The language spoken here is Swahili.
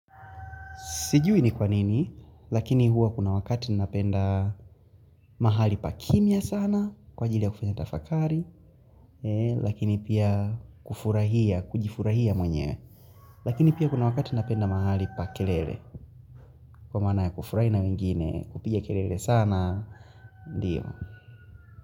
Sijui ni kwanini, lakini huwa kuna wakati napenda mahali pa kimya sana, kwa ajili ya kufanya tafakari, lakini pia kufurahia, kujifurahia mwenyewe, lakini pia kuna wakati napenda mahali pa kelele, kwa maana ya kufurahi na wengine, kupiga kelele sana, ndio.